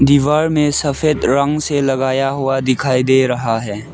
दीवार में सफेद रंग से लगाया हुआ दिखाई दे रहा है।